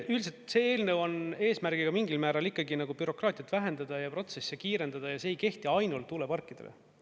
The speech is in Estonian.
Üldiselt see eelnõu on eesmärgiga mingil määral ikkagi nagu bürokraatiat vähendada ja protsessi kiirendada, ja see ei kehti ainult tuuleparkidele.